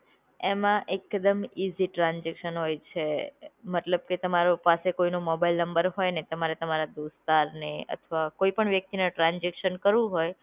એમાં એક દમ ઇઝી ટ્રાન્સઝેકશન હોય છે. મતલબ કે તમારો પાસે કોઈ નો મોબાઈલ નંબર હોયને, તમારે તમારા દોસ્તારને અથવા કોઈ પણ વ્યક્તિને ટ્રાન્સઝેકશન કરવું હોય.